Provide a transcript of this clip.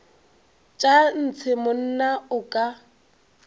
tša ntshe monna o ka